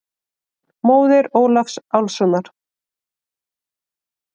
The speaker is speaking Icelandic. Móðir Ólafs Álfssonar.